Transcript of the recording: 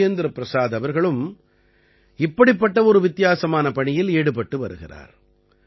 ராஜேந்திர பிரசாத் அவர்களும் இப்படிப்பட்ட ஒரு வித்தியாசமான பணியில் ஈடுபட்டு வருகிறார்